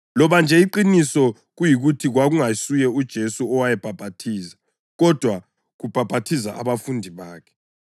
loba nje iqiniso kuyikuthi kwakungasuye uJesu owayebhaphathiza, kodwa kubhaphathiza abafundi bakhe.